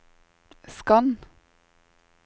skann